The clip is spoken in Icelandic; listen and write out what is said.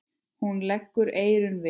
Hún leggur eyrun við.